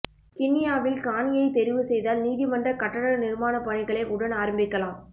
கிண்ணியாவில் காணியை தெரிவு செய்தால் நீதிமன்ற கட்டட நிர்மாணப் பணிகளை உடன் ஆரம்பிக்கலாம்